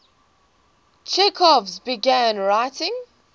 chekhov began writing